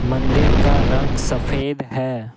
मंदिर का रंग सफेद है।